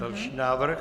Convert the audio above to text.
Další návrh.